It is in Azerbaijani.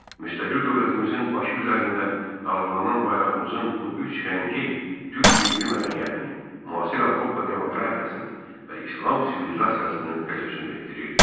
Müstəqil dövlətimizin başı üzərində dalğalanan bayrağımızın bu üç rəngi türk milli mədəniyyətini, müasir Avropa demokratiyasını və İslam sivilizasiyasını təcəssüm etdirirdi.